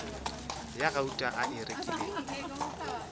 ya gauta a e rekilego